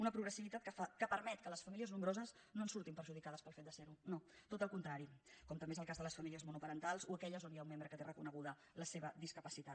una progressivitat que permet que les famíli·es nombroses no en surtin perjudicades pel fet de ser·ho no tot el contrari com també és el cas de les fa·mílies monoparentals o aquelles on hi ha un membre que té reconeguda la seva discapacitat